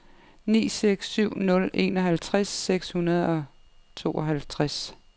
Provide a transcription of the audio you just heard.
ni seks syv nul enoghalvtreds seks hundrede og tooghalvtreds